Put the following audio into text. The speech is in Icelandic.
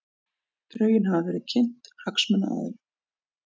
Drögin hafa verið kynnt hagsmunaaðilum